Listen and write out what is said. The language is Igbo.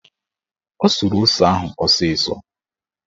O suru ose ahụ ọsịsọ